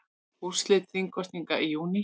Úrslit þingkosninga í júní